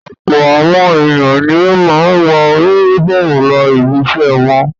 Ọ̀pọ̀ àwọn ènìyàn ni ó máa ń wọ únífọ́ọ́mù lọ ibiṣẹ́ wọn.